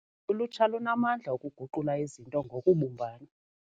Ulutsha lunamandla okuguqula izinto ngokubumbana.